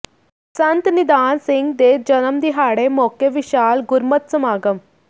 ਸੰਤ ਨਿਧਾਨ ਸਿੰਘ ਦੇ ਜਨਮ ਦਿਹਾੜੇ ਮੌਕੇ ਵਿਸ਼ਾਲ ਗੁਰਮਤਿ ਸਮਾਗਮ